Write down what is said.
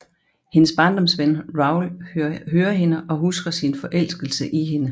Hendes barndomsven Raoul hører hende og husker sin forelskelse i hende